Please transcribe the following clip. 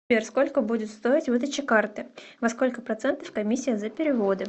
сбер сколько будет стоить выдача карты во сколько процентов комиссия за переводы